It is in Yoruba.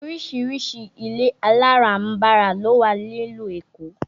Oríṣiríṣi ilé aláràǹbarà ló wà ní ìlú Èkó